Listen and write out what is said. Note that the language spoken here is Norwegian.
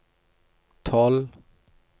tolv